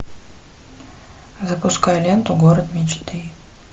запускай ленту город мечты